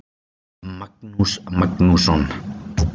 Magnús Magnússon.